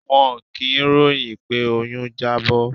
Wọn kì í ròhìn pé oyún Jábó.